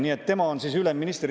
Nii et tema on siis ülemminister.